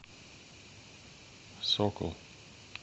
сокол